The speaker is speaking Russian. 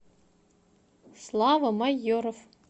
слава майоров